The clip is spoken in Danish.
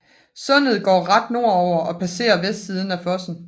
Sundet går ret nordover og passerer vestsiden af Fosen